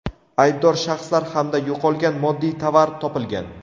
aybdor shaxslar hamda yo‘qolgan moddiy tovar topilgan.